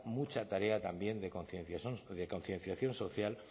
mucha tarea también de concienciación social